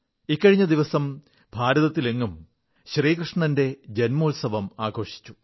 ഇക്കഴിഞ്ഞ ദിവസം ഭാരതത്തിലെങ്ങും ശ്രീകൃഷ്ണന്റെ ജന്മോത്സവം ആഘോഷിച്ചു